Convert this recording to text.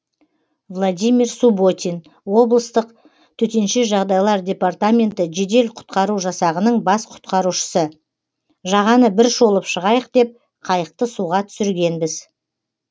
владимир субботин облыстық төтенше жағыдайлар департаменті жедел құтқару жасағының бас құтқарушысы жағаны бір шолып шығайық деп қайықты суға түсіргенбіз